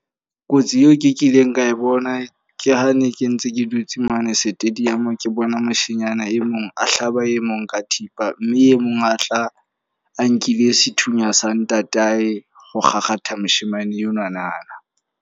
Kotsi eo ke kileng ka e bona ke ha ne ke ntse ke dutse mane stadium. Ke bona moshanyana e mong a hlaba e mong ka thipa. Mme e mong a tla a nkile sethunya sa ntatae, ho kgakgatha moshemane enwanana.